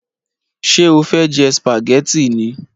Ṣé o fẹ jẹ spaghetti ni?